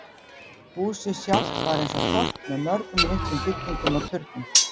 Húsið sjálft var eins og þorp með mörgum litlum byggingum og turnum.